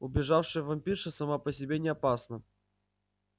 убежавшая вампирша сама по себе не опасна